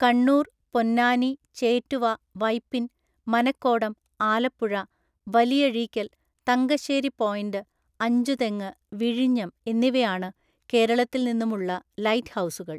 കണ്ണൂർ, പൊന്നാനി, ചേറ്റുവ, വൈപ്പിൻ, മനക്കോടം, ആലപ്പുഴ, വലിയഴീക്കൽ, തങ്കശ്ശേരിപോയിന്റ്, അഞ്ചുതെങ്ങ്, വിഴിഞ്ഞം എന്നിവയാണ് കേരളത്തിൽ നിന്നും ഉള്ള ലൈറ്റ് ഹൗസുകൾ.